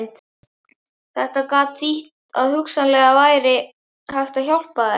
Þetta gat þýtt að hugsanlega væri hægt að hjálpa mér.